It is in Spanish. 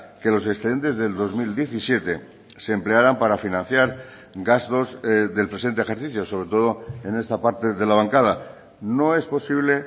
que los excedentes del dos mil diecisiete se emplearan para financiar gastos del presente ejercicio sobre todo en esta parte de la bancada no es posible